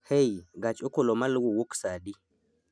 hey gach okolomaluwo wuok saa adi